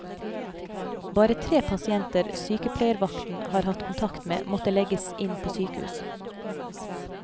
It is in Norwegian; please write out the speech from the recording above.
Bare tre pasienter sykepleiervakten har hatt kontakt med, måtte legges inn på sykehus.